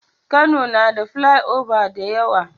Kano na da filai oba da yawa